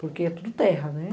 Porque é tudo terra, né?